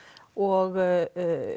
og